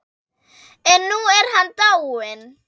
En nú er hann dáinn.